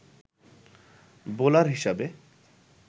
bowler হিসাবে